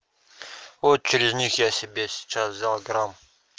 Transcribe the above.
вот через них я себе сейчас взял грамм